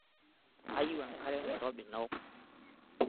Kayieu enkare nairobi naok.